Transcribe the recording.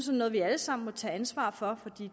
noget vi alle sammen må tage ansvar for for